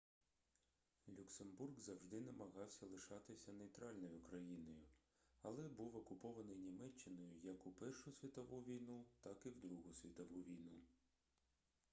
люксембург завжди намагався лишатися нейтральною країною але був окупований німеччиною як у першу світову війну так і в другу світову війну